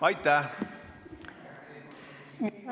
Aitäh!